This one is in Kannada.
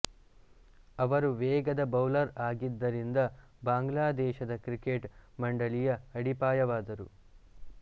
ಅವರು ವೇಗದ ಬೌಲರ್ ಆಗಿದ್ದರಿಂದ ಬಾಂಗ್ಲಾದೇಶದ ಕ್ರಿಕೆಟ್ ಮಂಡಳಿಯ ಅಡಿಪಾಯವಾದರು